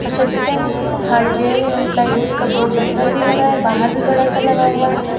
सत्यम hardware एंव plywood का board अंदर भी लगा है बाहर भी बड़ा सा लगा हुआ है।